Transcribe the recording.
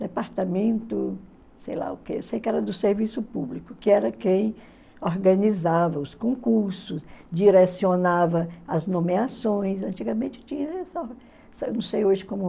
Departamento, sei lá o que, sei que era do serviço público, que era quem organizava os concursos, direcionava as nomeações, antigamente tinha só, não sei hoje como